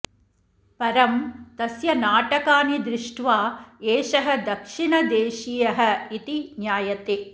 परं तस्य नाटकानि दृष्ट्वा एषः दक्षिणदेशीयः इति ज्ञायते